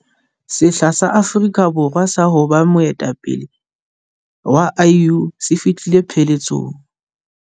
Sehla sa Afrika Borwa sa ho ba moetapele wa AU se fihlile pheletsong.